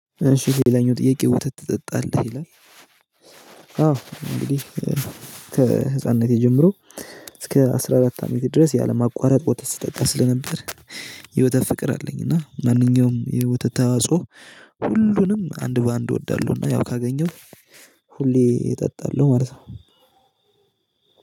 እሺ ሌላኛው ጥያቄ ወተት ትጠጣለህ ይላል? አዎ እንግዲህ ከህፃንነቴ ጀምሮ እስከ አስራ አራት አመቴ ድረስ ያለማቋረጥ ወተት ስጠጣ ስለነበር የወተት ፍቅር አለኝ። እና ማንኛውም ወተት ተዋጽኦ ሁሉንም አንድ በአንድ እወዳለሁና ያው ካገኘሁ ሁሌ እጠጣለሁ ማለት ነው።